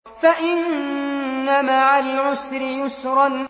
فَإِنَّ مَعَ الْعُسْرِ يُسْرًا